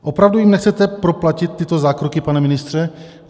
Opravdu jim nechcete proplatit tyto zákroky, pane ministře?